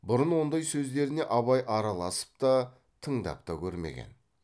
бұрын ондай сөздеріне абай араласып та тыңдап та көрмеген